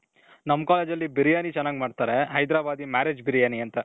ನಮ್ college ಅಲ್ಲಿ ಬಿರಿಯಾನಿ ಚೆನಾಗ್ ಮಾಡ್ತಾರೆ. ಹೈದ್ರಬಾದಿ marriage ಬಿರಿಯಾನಿ ಅಂತ .